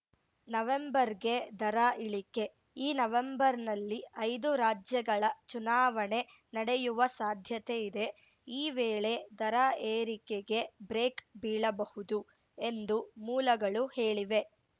ನವೆಂಬರ್‌ಗೆ ದರ ಇಳಿಕೆ ಈ ನವೆಂಬರ್‌ನಲ್ಲಿ ಐದು ರಾಜ್ಯಗಳ ಚುನಾವಣೆ ನಡೆಯುವ ಸಾಧ್ಯತೆ ಇದೆ ಈ ವೇಳೆ ದರ ಏರಿಕೆಗೆ ಬ್ರೇಕ್‌ ಬೀಳಬಹುದು ಎಂದು ಮೂಲಗಳು ಹೇಳಿವೆ